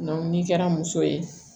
ni kɛra muso ye